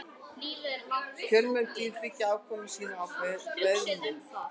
Fjölmörg dýr byggja afkomu sína á beðmi.